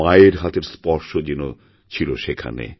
মায়ের হাতের স্পর্শ যেন ছিল সেখানে